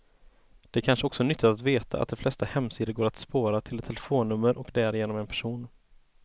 Det är kanske också nyttigt att veta att de flesta hemsidor går att spåra, till ett telefonnummer och därigenom en person.